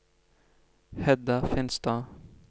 Hedda Finstad